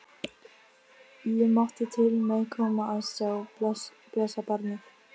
Ég mátti til með að koma að sjá blessað barnið.